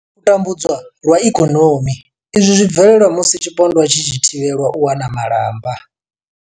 U tambudzwa lwa ikonomi, Izwi zwi bvelela musi tshipondwa tshi tshi thivhelwa u wana malamba.